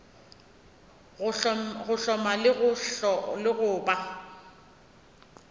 go hloma le go ba